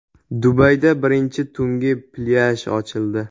Dubayda birinchi tungi plyaj ochildi.